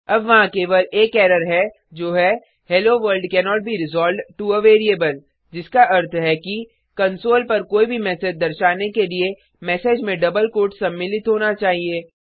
अब वहाँ केवल एक एरर है जो है hello world cannot be resolved to a variable जिसका अर्थ है कि कंसोल पर कोई भी मैसेज दर्शाने के लिए मैसेज में डबल कोट्स सम्मिलित होना चाहिए